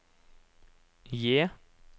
J